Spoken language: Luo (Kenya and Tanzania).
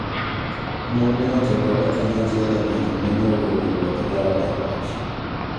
Mon ne ochokore kanyachiel e ng'anjo ma ne ogolo Ruoth Gao e loch.